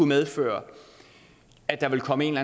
medføre at der vil komme en